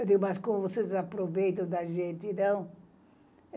Eu digo, mas como vocês aproveitam da gente, não?